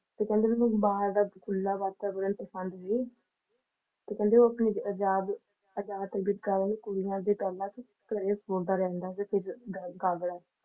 ਤੇ ਕਹਿੰਦੇ ਉਹਨੂੰ ਬਾਹਰ ਦਾ ਖੁੱਲਾ ਵਾਤਾਵਰਨ ਪਸੰਦ ਸੀ ਕਹਿੰਦੇ ਉਹ ਆਪਣੀ ਆਜ਼ਾਦ ਆਜ਼ਾਦ ਤਬੀਅਤ ਕਾਰਨ ਕੁੜੀਆਂ ਦੇ ਖਿਆਲਾਂ ਚ ਘਰੇ ਸੁਣਦਾ ਰਹਿੰਦਾ ਸੀ ਗੱਲ ਦੌਰਾਨ